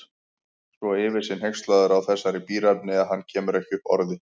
Svo yfir sig hneykslaður á þessari bíræfni að hann kemur ekki upp orði.